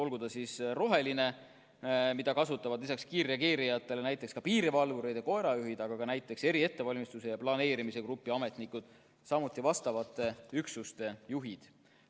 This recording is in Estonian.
Näiteks rohelist kasutavad lisaks kiirreageerijatele ka piirivalvurid ja koerajuhid, samuti eriettevalmistuse ja planeerimise grupi ametnikud ja vastavate üksuste juhid.